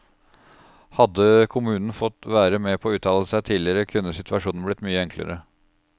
Hadde kommunen fått være med å uttale seg tidligere, kunne situasjonen blitt mye enklere.